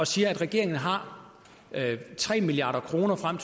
siger at regeringen har tre milliard kroner frem